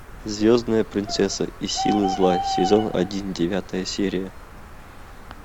звездная принцесса и силы зла сезон один девятая серия